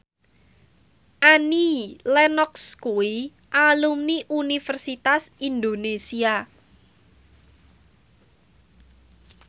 Annie Lenox kuwi alumni Universitas Indonesia